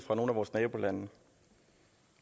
nogle af vores nabolande